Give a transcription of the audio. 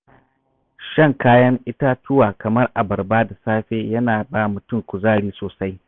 Shan kayan itatuwa kamar abarba da safe yana ba mutum kuzari sosai.